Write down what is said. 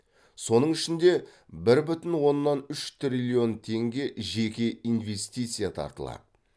соның ішінде бір бүтін оннан үш триллион теңге жеке инвестиция тартылады